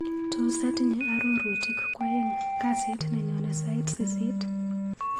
Tos atinye arorutik kwaeng' kasit nenyone sait sisit?